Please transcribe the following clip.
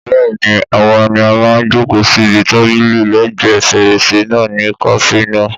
Bẹ́ẹ̀ni, àwa ni a máa jòkó síbi tábìlì lẹ́ẹ̀gbẹ́ fèrèsé náà ní kàáfè náà